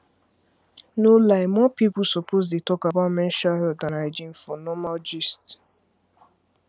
no lie more people suppose dey talk about menstrual health and hygiene for normal gist